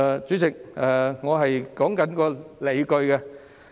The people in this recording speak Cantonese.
主席，我正在說明理據。